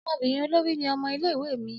Ọmọbinrin olori ni ọmọ ile-iwe mi.